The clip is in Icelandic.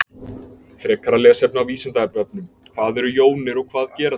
Frekara lesefni á Vísindavefnum: Hvað eru jónir og hvað gera þær?